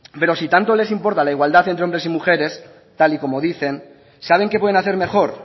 pero si tanto les importa la igualdad entre hombres y mujeres tal y como dicen saben qué pueden hacer mejor